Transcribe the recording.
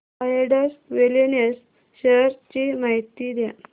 Zydus wellness shares ची माहिती द्या